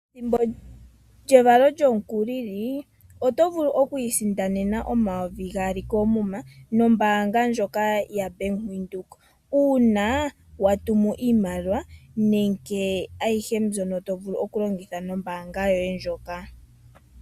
Ethimbo lyevalo lyomukulili, oto vulu okwiisindanena omayovi gaali koomuma nombaanga ndjoka yaBank Windhoek. Shika ohashi sindanwa uuna watumu iimaliwa nenge aihe mbyono tovulu okulongitha nombaanga yoye ndjoka.